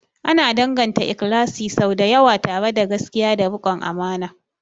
Ana danganta ikhlasi sau da yawa tare da gaskiya da rikon amana.